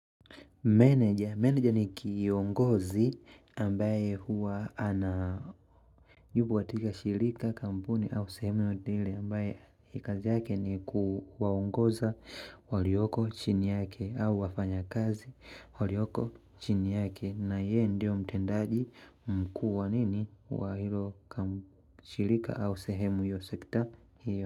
Manager, manager ni kiongozi. Ambaye huwa anayubu watika shirika kampuni au sehemu yodile ambaye ikazi yake ni kuwaongoza walioko chini yake au wafanya kazi walioko chini yake na ye ndio mtendaji mkuwa nini wa hilo. Shirika au sehemu yosekita hiyo.